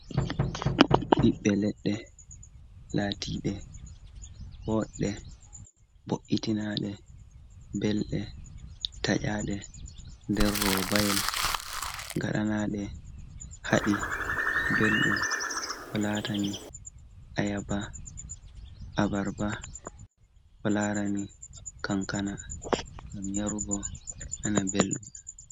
Ɓiɓɓe leɗɗe, laatiɗe boɗɗe, bo’itinaaɗe, belɗe, taƴaaɗe nder robayel, ngaɗanaaɗe haɗi ɓelɗum. Ko laarani ayaaba, abarba, ko laarani kankana, ngam yarugo, nana belɗum.